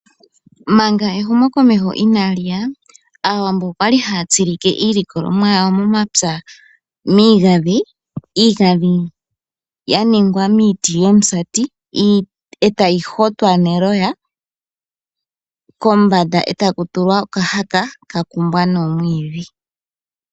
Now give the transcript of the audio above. Manga ehumokomeho inaliya Aawambo okwa li haatsilike iilikolomwa yawo yo momapya miigadhi iigadhi ya ningwa miiti yomusati etavyi hotwa neloya kombanda etaku tulwa okatala ka kumbwa noomwiidhi.